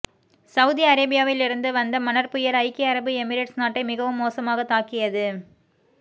Saudi அரேபியாலிருந்து வந்த மணற்புயல் ஐக்கிய அரபு எமிரேட்ஸ் நாட்டை மிகவும் மோசமாக தாக்கியது